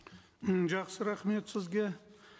м жақсы рахмет сізге